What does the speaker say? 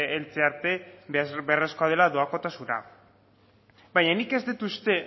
heltze arte beharrezkoa dela doakotasuna baina nik ez dut uste